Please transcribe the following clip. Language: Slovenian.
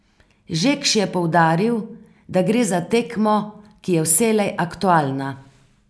Žekš je poudaril, da gre za temo, ki je vselej aktualna.